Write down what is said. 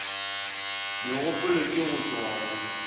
megopolo ke go tloga go